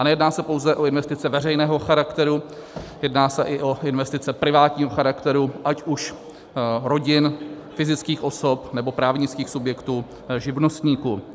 A nejedná se pouze o investice veřejného charakteru, jedná se i o investice privátního charakteru, ať už rodin, fyzických osob, nebo právnických subjektů, živnostníků.